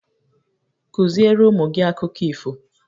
Kụziere ụmụ gị akụkọ ifo!